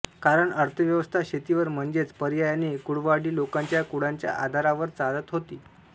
कारण अर्थव्यवस्था शेतीवर म्हणजेच पर्यायाने कुळवाडी लोकांच्या कुळाच्या आधारावर चालत होती